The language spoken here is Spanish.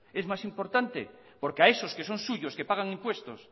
es más importante porque a esos que son suyos que pagan impuestos